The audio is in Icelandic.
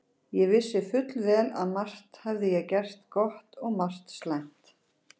Ég vissi fullvel að margt hafði ég gert gott og margt slæmt.